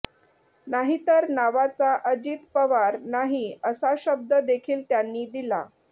नाहीतर नावाचा अजित पवार नाही असा शब्द देखील त्यांनी दिला